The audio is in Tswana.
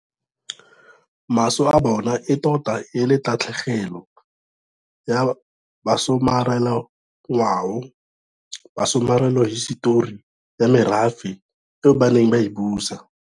Maso a bona e tota e le tatlhe gelo ya basomarelangwao, basomarelahisetori ya merafe eo ba neng ba e busa.